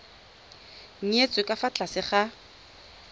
nyetswe ka fa tlase ga